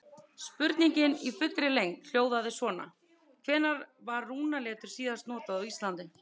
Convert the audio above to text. Spurningin í fullri lengd hljóðaði svona: Hvenær var rúnaletur síðast notað á Íslandi?